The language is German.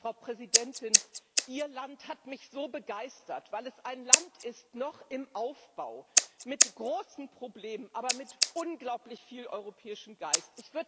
Frau Präsidentin, Ihr Land hat mich so begeistert, weil es ein Land ist, noch im Aufbau, mit großen Problemen, aber mit unglaublich viel europäischem Geist.